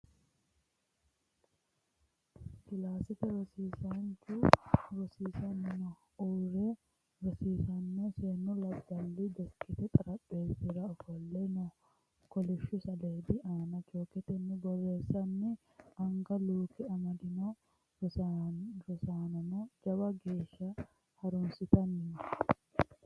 Kilaasete rosiisaanchu rosiinni no uurre rosaano seennu labballi deskete xarapheezzira ofolle no.kolishshu saleedi aana chooketenni borreessino, anga luuke amadino rosaanono jawa geeshsha harunsitanni no.